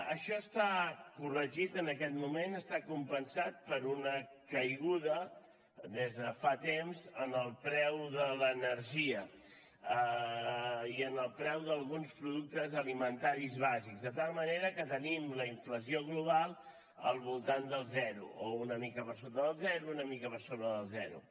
això està corregit en aquest moment està compensat per una caiguda des de fa temps en el preu de l’energia i en el preu d’alguns productes alimentaris bàsics de tal manera que tenim la inflació global al voltant del zero o una mica per sota del zero una mica per sobre del zero